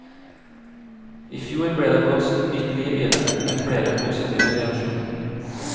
I fjor ble det blåst nytt liv i det, med flere positive reaksjoner.